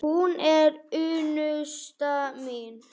Hún er unnusta mín!